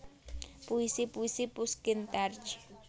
Puisi puisi Pushkin terj